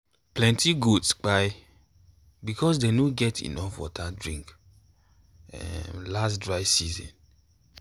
plenty goats kpai because dem no get enough water drink um last dry season.